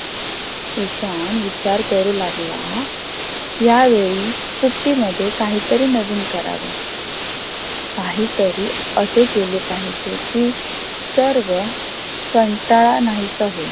ईशान विचार करू लागला या वेळी सुट्टी मध्ये काही तरी नवीन करावे. काही तरी असे केले पाहिजेकी सर्व कंटाळा नाहीसा होईल.